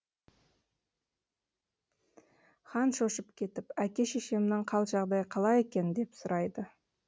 хан шошып кетіп әке шешемнің қал жағдайы қалай екен деп сұрайды